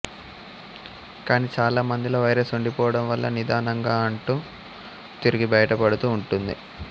కానీ చాలా మందిలో వైరస్ ఉండిపోవడం వల్ల నిదానంగా ఉంటూ తిరిగి బయటపడుతూ ఉంటుంది